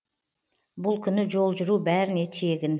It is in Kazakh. бұл күні жол жүру бәріне тегін